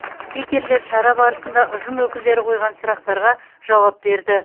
спикерлер шара барысында ұжым өкілдері қойған сұрақтарға жауап берді